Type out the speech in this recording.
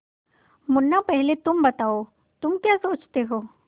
मुन्ना पहले तुम बताओ तुम क्या सोचते हो